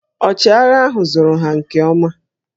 Ọchịagha ahụ zụrụ ha nke ọma